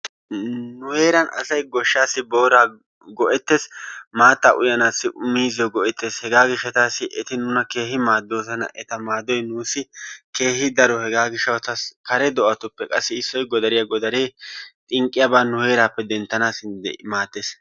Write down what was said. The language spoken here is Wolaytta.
Nu heeran asay goshshaassi booraa go'ettees, maattaa uyanaassi miizziyo go'ettees. Hegaa gishshatassi eti nuna keehi maaddoosona. Eta maaddoy nuussi keehi daro. Hegaa gishshatassi kare do'atupppe qassi issoy Godariya. Godaree xinqqiyabaa nu heeraappe denttanaassi maaddees.